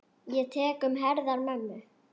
Ég tek um herðar mömmu.